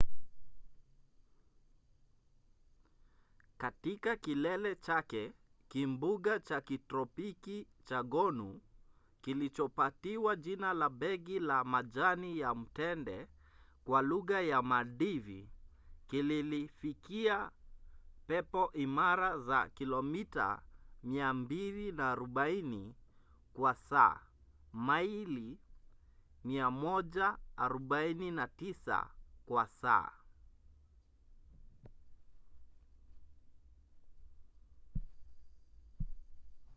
katika kilele chake kimbunga cha kitropiki cha gonu kilichopatiwa jina la begi la majani ya mtende kwa lugha ya maldivi kililifikia pepo imara za kilomita 240 kwa saa maili 149 kwa saa